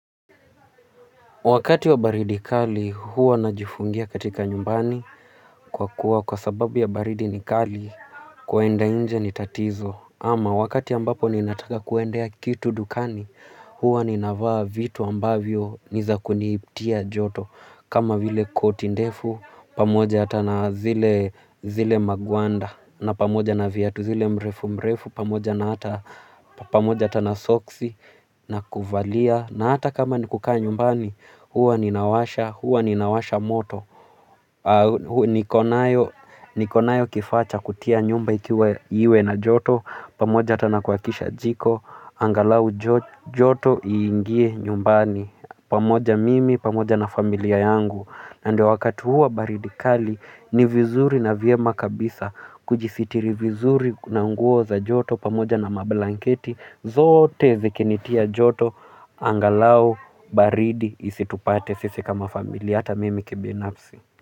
Wakati wa baridi kali huwa najifungia katika nyumbani kwa kuwa kwa sababu ya baridi ni kali kuenda nje ni tatizo ama wakati ambapo ninataka kuendea kitu dukani huwa ninavaa vitu ambavyo ni za kunipatia joto kama vile koti ndefu pamoja hata na zile magwanda na pamoja na viatu zile mrefu mrefu pamoja na hata pamoja hata na soksi na kuvalia na hata kama ni kukaa nyumbani huwa ninawasha, huwa ninawasha moto niko nayo kifaa cha kutia nyumba iwe na joto pamoja hata na kuwakisha jiko angalau joto iingie nyumbani pamoja mimi, pamoja na familia yangu. Na ndo wakati huu wa baridi kali ni vizuri na vyema kabisa. Kujisitiri vizuri na nguo za joto pamoja na mablanketi zote zikinitia joto. Angalau baridi isitupate sisi kama familia hata mimi kibinafsi.